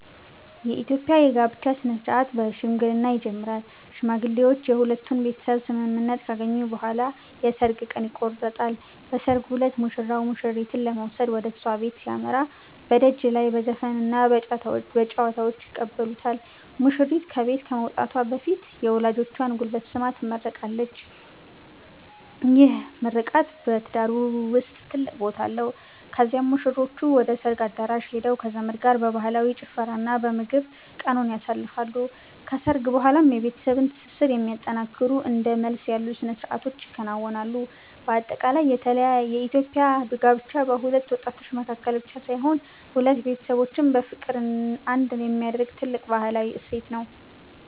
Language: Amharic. የኢትዮጵያ የጋብቻ ሥነ-ሥርዓት በሽምግልና ይጀምራል። ሽማግሌዎች የሁለቱን ቤተሰብ ስምምነት ካገኙ በኋላ የሰርግ ቀን ይቆረጣል። በሰርጉ ዕለት ሙሽራው ሙሽሪትን ለመውሰድ ወደ እሷ ቤት ሲያመራ፣ በደጅ ላይ በዘፈንና በጨዋታ ይቀበሉታል። ሙሽሪት ከቤት ከመውጣቷ በፊት የወላጆቿን ጉልበት ስማ ትመረቃለች፤ ይህ ምርቃት በትዳሩ ውስጥ ትልቅ ቦታ አለው። ከዚያም ሙሽሮቹ ወደ ሰርግ አዳራሽ ሄደው ከዘመድ ጋር በባህላዊ ጭፈራና በምግብ ቀኑን ያሳልፋሉ። ከሰርግ በኋላም የቤተሰብን ትስስር የሚያጠነክሩ እንደ መልስ ያሉ ሥነ-ሥርዓቶች ይከናወናሉ። በአጠቃላይ የኢትዮጵያ ጋብቻ በሁለት ወጣቶች መካከል ብቻ ሳይሆን፣ ሁለት ቤተሰቦችን በፍቅር አንድ የሚያደርግ ትልቅ ባህላዊ እሴት ነው።